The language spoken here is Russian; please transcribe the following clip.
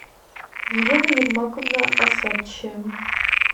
елена ермаковна осадчая